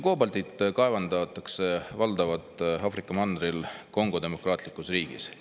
Koobaltit kaevandatakse valdavalt Aafrika mandril Kongo Demokraatlikus Vabariigis.